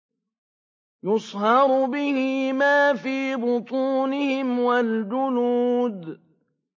يُصْهَرُ بِهِ مَا فِي بُطُونِهِمْ وَالْجُلُودُ